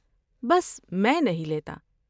بس میں نہیں لیتا۔